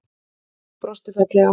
Hún brosti fallega.